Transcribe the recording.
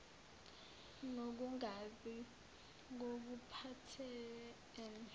nokungazi ngokuphathel ene